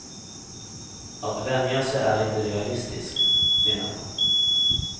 Att vänja sig är inte realistiskt, menar hon.